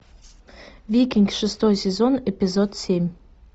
викинг шестой сезон эпизод семь